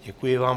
Děkuji vám.